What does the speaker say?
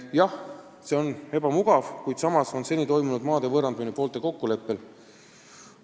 Jah, see on ebamugav, kuid samas on seni toimunud maade võõrandamine poolte kokkuleppel.